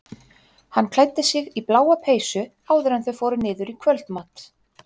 Hann klæddi sig í bláa peysu áður en þau fóru niður í kvöldmat.